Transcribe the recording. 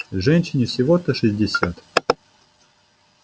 женщине всего-то шестьдесят